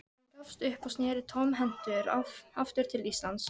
Hann gafst upp og sneri tómhentur aftur til Íslands.